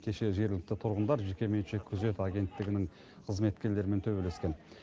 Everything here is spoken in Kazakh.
кеше жергілікті тұрғындар жекеменшік күзет агенттігінің қызметкерлерімен төбелескен